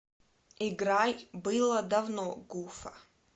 играй было давно гуфа